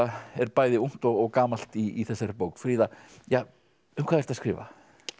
er bæði ungt og gamalt í þessari bók fríða ja um hvað ertu að skrifa